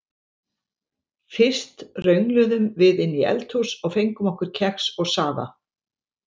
Fyrst röngluðum við inn í eldhús og fengum okkur kex og safa.